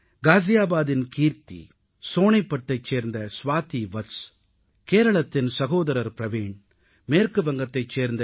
காஜியாபாதின் கீர்த்தி சோனிபத்தைச் சேர்ந்த ஸ்வாதி வத்ஸ கேரளத்தின் சகோதரர் பிரவீண் மேற்கு வங்கத்தைச் சேர்ந்த டா